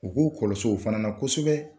U k'u kɔlɔsi o fana na kosɛbɛ.